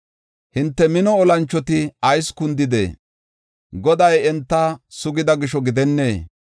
Hinte mino olanchoti ayis kundidee? Goday enta sugida gisho gidennee?